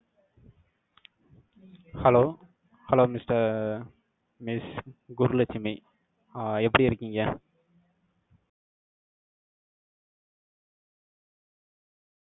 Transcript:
Hello hello mister miss Guru Lakshmi. ஆ, எப்படி இருக்கீங்க?